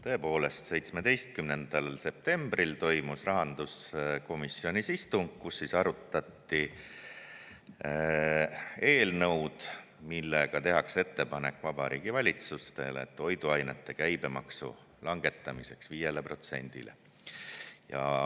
Tõepoolest, 17. septembril toimus rahanduskomisjoni istung, kus arutati eelnõu, milles tehakse ettepanek Vabariigi Valitsusele toiduainete käibemaksu langetamiseks 5%-le.